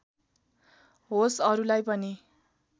होस् अरूलाई पनि